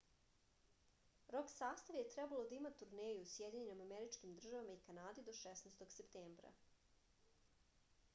rok sastav je trebalo da ima turneju u sjedinjenim američkim državama i kanadi do 16. septembra